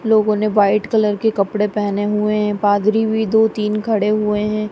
लोगों ने white colour के कपड़े पहने हुए हैं पादरी भी दो तीन खड़े हुए हैं।